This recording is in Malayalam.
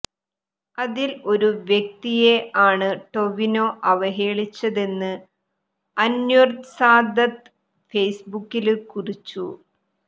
അതിൽ ഒരു വ്യക്തിയെ ആണ് ടൊവിനോ അവഹേളിച്ചതെന്ന് അന്വര് സാദത്ത് ഫേസ്ബുക്കില് കുറിച്ചു